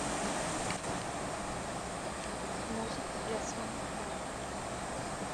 музыка для самых маленьких